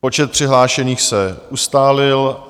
Počet přihlášených se ustálil.